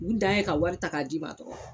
U dan ye ka wari ta ka d'i ma dɔrɔn.